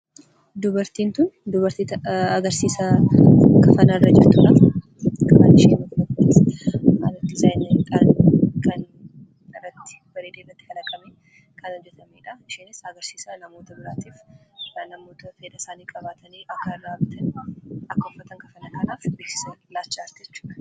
Dubartiin kun dubartii agarsiisa kafanaa irra jirtuudha. Kafanichi diizaayiniidhaan bareedee kan kalaqameedha. Isheenis namootni fedhii qaban akka irraa bitaniif agarsiisa gochaa jirti jechuudha.